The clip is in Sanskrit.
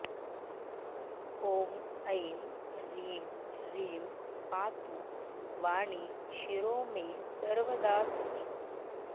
ॐ ऐं ह्रीं ह्रीं पातु वाणी शिरो मे सर्वदा सती